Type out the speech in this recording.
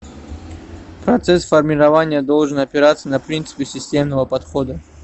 процесс формирования должен опираться на принципы системного подхода